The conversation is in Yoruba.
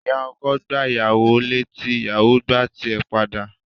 Ìyá ọkọ gbá ìyàwó láti, ìyàwò gbá ti ẹ̀ padà.